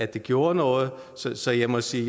det gjorde noget så jeg må sige